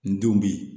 N denw bi